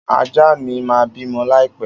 Ajá mi ma bimo laipe.